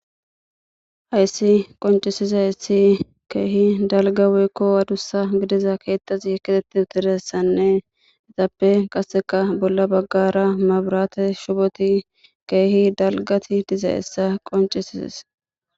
Hayssi qoncisiza essi keehi dalga woykko adussa gidiza keettazi kitetti utiressanne etappe qasseka bolla baggara maburate shuboti keehi dalgati diza essa qoncisises